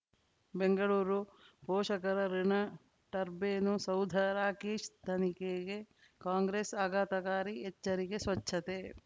ಬೆಂಗಳೂರು ಪೋಷಕರಋಣ ಟರ್ಬೈನು ಸೌಧ ರಾಕೇಶ್ ತನಿಖೆಗೆ ಕಾಂಗ್ರೆಸ್ ಆಘಾತಕಾರಿ ಎಚ್ಚರಿಕೆ ಸ್ವಚ್ಛತೆ